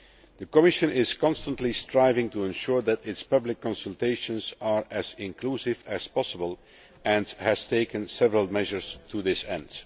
The Commission is constantly striving to ensure that its public consultations are as inclusive as possible and has taken several measures to this end.